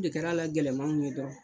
O de kɛra la gɛlɛmaw ye dɔrɔn.